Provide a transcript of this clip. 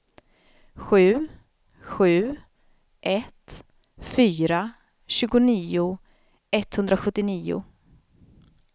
sju sju ett fyra tjugonio etthundrasjuttionio